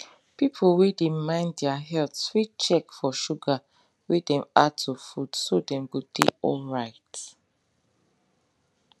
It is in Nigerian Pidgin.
people wey dey mind their health fit check for sugar wey dem add to food so dem go dey alright